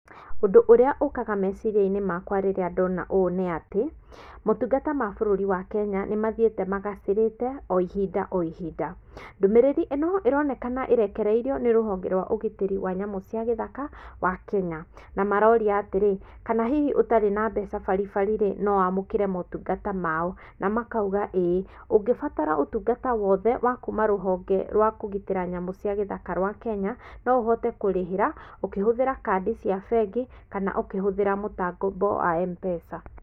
Ũndũ ũrĩa ũkaga meciria-inĩ makwa rĩrĩa ndona ũndũ ũũ nĩ atĩ, motungata ma bũrũri wa Kenya nĩ mathiĩte magacĩrĩte o ihinda o ihinda. Ndũmĩrĩrĩ ĩno ironekana ĩrekereirio nĩ rũhonge rwa ũgitĩri wa nyamũ cia gĩthaka wa Kenya, na maroria atĩrĩ, kana hihi ũtarĩ na mbeca baribari, no wamũkĩre motungata mao, na makauga ĩ, ũngĩbatara ũtungata wothe wa kuma rũhonge rwa kũgitĩra nyamũ cia gĩthaka rwa Kenya, no ũhote kũrĩhĩra ũkĩhũthĩra kandi cia bengi kana ũkĩhũthĩra mũtambo wa M-Pesa.